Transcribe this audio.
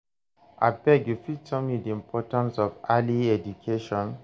abeg u fit tell me di importance of early education?